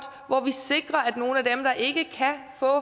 hvor vi sikrer at nogle af dem der ikke kan få